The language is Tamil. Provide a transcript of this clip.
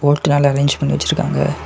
வீட்டு முன்னால அரேஞ் பண்ணி வெச்சிருக்காங்க.